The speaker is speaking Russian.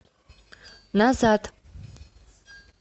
назад